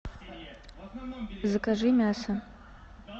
закажи мясо